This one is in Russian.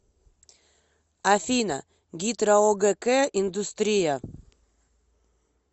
афина гидроогк индустрия